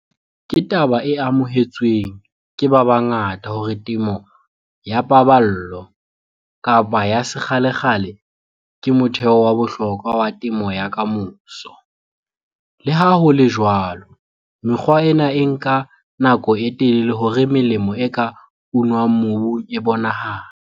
Ke taba e amohetsweng ke ba bangata hore temo ya paballo-ya sekgalekgale ke motheo wa bohlokwa wa temo ya ka moso, le ha ho le jwalo, mekgwa ena e nka nako e telele hore melemo e ka unwang mobung e bonahale.